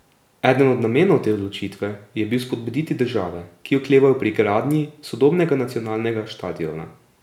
Eden od namenov te odločitve je bil spodbuditi države, ki oklevajo pri gradnji sodobnega nacionalnega štadiona.